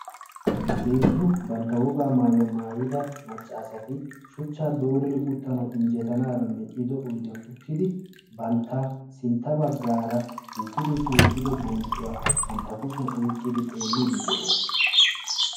Heezzu bantta wogaa mayuwa maayida machchaasati shuchchaa dooridi uttanawu injjetanaadan medhdhido oyidiyan uttidi bantta sintta baggaara duutti duutti wottido bonccuwa bantta kushiyan oyiqqidi xeellidi de'oosona.